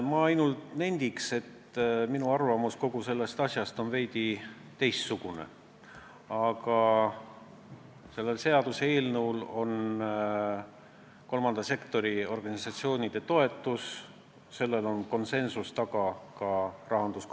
Ma ainult nendin, et minu arvamus kogu sellest asjast on veidi teistsugune, aga sellel seaduseelnõul on kolmanda sektori organisatsioonide toetus ja ka rahanduskomisjoni konsensuslik toetus.